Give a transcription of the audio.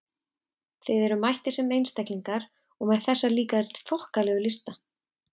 Þið eruð mættir sem einstaklingar- og með þessa líka þokkalegu lista!